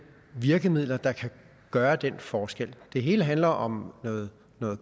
virkemidler der kan gøre den forskel det hele handler om noget